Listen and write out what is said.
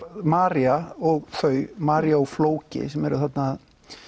María og þau María og flóki sem eru þarna að